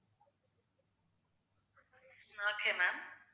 okay ma'am